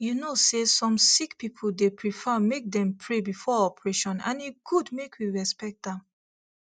you know say some sick people dey prefer make dem pray before operation and e good make we respect am